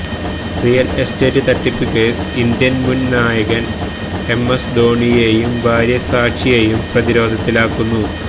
real estate തട്ടിപ്പ് case Indian മുന് നായകന് എംഎസ് ധോണിയേയും ഭാര്യ സാക്ഷിയേയും പ്രതിരോധത്തിലാക്കുന്നു